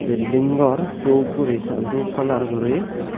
building gor dhup guri sa dhub color guri.